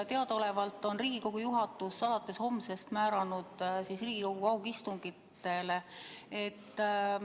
Teadaolevalt on Riigikogu juhatus alates homsest määranud Riigikogu kaugistungitele.